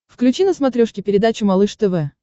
включи на смотрешке передачу малыш тв